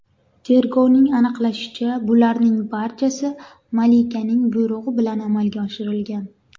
Tergovning aniqlashicha, bularning barchasi malikaning buyrug‘i bilan amalga oshirilgan.